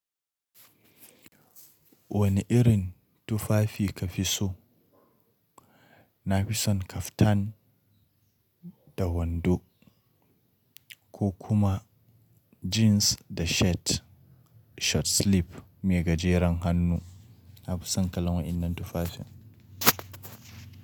Wani irin tufafi ka fi so? Na fi son kaftan da wando ko kuma jeans da shirt short sleeve mai gajeren hannu. Na fi son kalan wayannan tufafin.